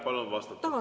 Palun vastata!